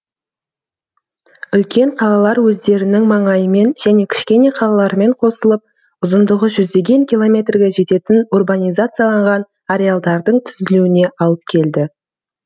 үлкен қалалар өздерінің маңайымен және кішкене қалалармен қосылып ұзындығы жүздеген километрге жететін урбанизацияланған ареалдардың түзілуіне алып келді